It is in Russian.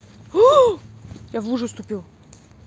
оо я в лужу вступил